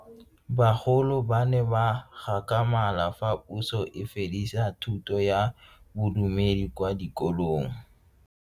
Bagolo ba ne ba gakgamala fa Puso e fedisa thuto ya Bodumedi kwa dikolong.